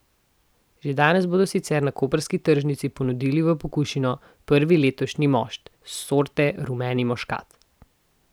Že danes bodo sicer na koprski tržnici ponudili v pokušino prvi letošnji mošt sorte rumeni muškat.